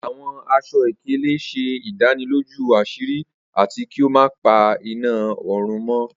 Awọn aṣọ-ikele ṣe idaniloju aṣiri ati ki o ma pa ina orun mọ.